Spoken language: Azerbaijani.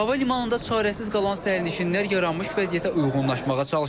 Hava limanında çarəsiz qalan sərnişinlər yaranmış vəziyyətə uyğunlaşmağa çalışır.